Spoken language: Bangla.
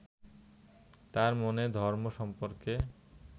তাঁর মনে ধর্ম সম্পর্কে